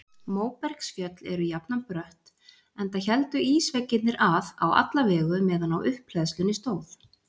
Móbergsfjöll eru jafnan brött enda héldu ísveggirnir að á alla vegu meðan á upphleðslunni stóð.